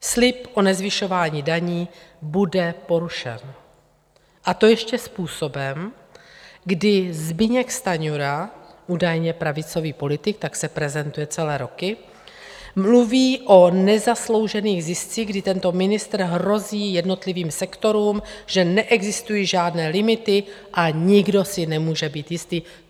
Slib o nezvyšování daní bude porušen, a to ještě způsobem, kdy Zbyněk Stanjura, údajně pravicový politik, tak se prezentuje celé roky, mluví o nezasloužených ziscích, kdy tento ministr hrozí jednotlivým sektorům, že neexistují žádné limity, a nikdo se nemůže být jistý.